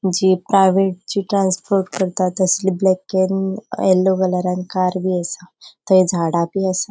जीप प्राइवेटची ट्रांसपोर्ट करतात तसली ब्लैक केरींग येल्लो कलरान कार बि आसा थंय झाड बी आसा.